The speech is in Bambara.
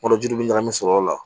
Yɔrɔjuw bɛ ɲagami sɔrɔ o la